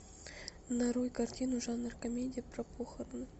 нарой картину жанр комедия про похороны